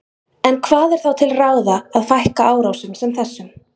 En hvað er þá til ráða til að fækka árásum sem þessum?